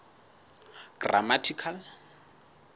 grammatical